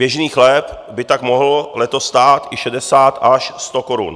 Běžný chléb by tak mohl letos stát i 60 až 100 korun.